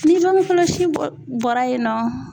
Ni bange kɔlɔsi bɔ bɔra yen nɔ